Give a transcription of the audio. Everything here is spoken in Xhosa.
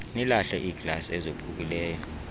nilahle iiglasi ezophukileyo